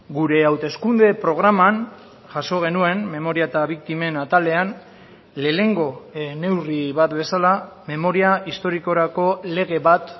gure hauteskunde programan jaso genuen memoria eta biktimen atalean lehenengo neurri bat bezala memoria historikorako lege bat